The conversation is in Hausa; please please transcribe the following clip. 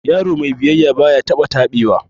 Yaro mai biyayya baya taba tabewa